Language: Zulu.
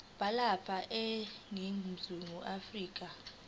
balapha eningizimu afrika